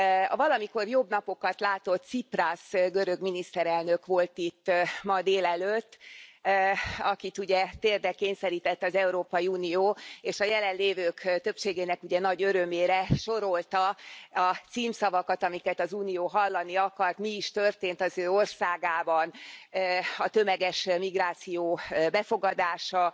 A valamikor jobb napokat látott Ciprasz görög miniszterelnök volt itt ma délelőtt, akit, ugye, térdre kényszerített az Európai Unió és a jelenlévők többségének nagy örömére sorolta a címszavakat, amiket az Unió hallani akart, mi is történt az ő országában a tömeges migráció befogadása,